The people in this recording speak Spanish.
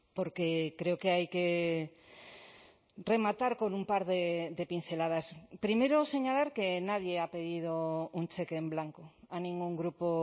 porque creo que hay que rematar con un par de pinceladas primero señalar que nadie ha pedido un cheque en blanco a ningún grupo